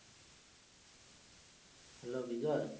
Hello Bijoy